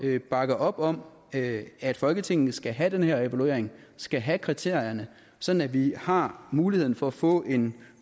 at bakke op om at at folketinget skal have den her evaluering skal have kriterierne sådan at vi har muligheden for at få en